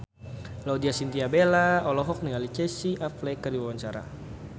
Laudya Chintya Bella olohok ningali Casey Affleck keur diwawancara